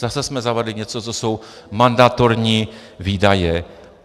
Zase jsme zavedli něco, co jsou mandatorní výdaje.